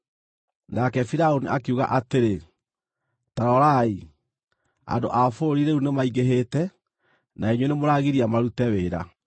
Nake Firaũni akiuga atĩrĩ, “Ta rorai, andũ a bũrũri rĩu nĩmaingĩhĩte, na inyuĩ nĩmũragiria marute wĩra.”